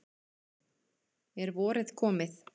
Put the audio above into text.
Er vorið komið?